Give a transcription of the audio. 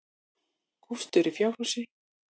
Kristur í fjárhúsi.